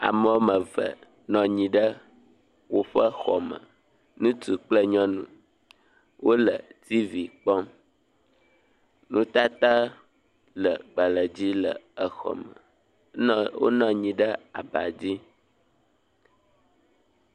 Ame wɔme eve nɔ anyi ɖe woƒe xɔ me. Ŋutsu kple nyɔnu wo le tivi kpɔm. Nutata le agbale dzi le xɔ me. Nɔ wonɔ anyi ɖe aba dzi.